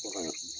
Bagan